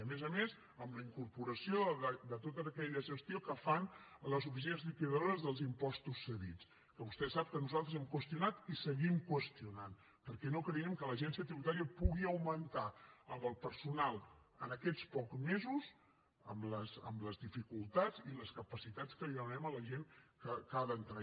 a més a més amb la incorporació de tota aquella gestió que fan a les oficines liquidadores dels impostos cedits que vostè sap que nosaltres hem qüestionat i seguim qüestionant perquè no creiem que l’agència tributària pugui augmentar amb el personal en aquests pocs mesos amb les dificultats i les capacitats que li demanem a la gent que ha d’entrar